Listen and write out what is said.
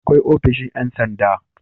Akwai ofishin Yan sanda